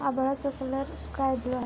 आभाळाचा colour sky blue आहे.